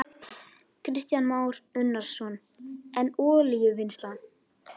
guð sem ég held ég trúi ekki á.